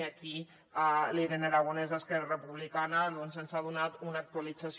i aquí la irene aragonès d’esquerra republicana doncs ens n’ha donat una actualització